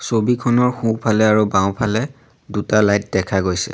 ছবিখনৰ সোঁফালে আৰু বাওঁফালে দুটা লাইট দেখা গৈছে।